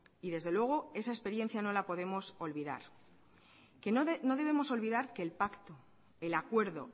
y desde luego esa experiencia no la podemos olvidar no debemos olvidar que el pacto el acuerdo